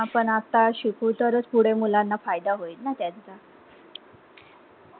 आपण आता शिकु तरच पुढे मुलांना फायदा होईल ना त्यांचा